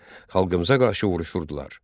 xalqımıza qarşı vuruşurdular.